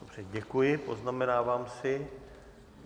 Dobře, děkuji, poznamenávám si.